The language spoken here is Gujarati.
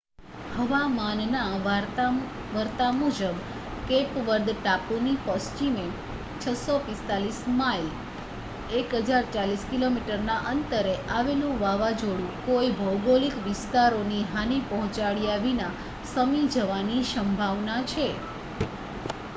હવામાનના વર્તા મુજબ કેપ વર્દ ટાપુની પશ્ચિમે 645 માઇલ 1,040 કિમીના અંતરે આવેલું વાવાઝોડું કોઈ ભૌગોલિક વિસ્તારોને હાનિ પહોંચાડ્યા વિના શમી જવાની સંભાવના છે